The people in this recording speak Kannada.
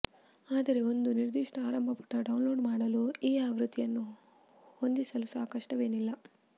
ಆದರೆ ಒಂದು ನಿರ್ದಿಷ್ಟ ಆರಂಭ ಪುಟ ಡೌನ್ಲೋಡ್ ಮಾಡಲು ಈ ಆವೃತ್ತಿಯನ್ನು ಹೊಂದಿಸಲು ಸಹ ಕಷ್ಟವೇನಲ್ಲ